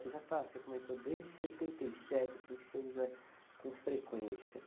Você já está, você comentou, desde setenta e sete, assim, que você usa com frequência.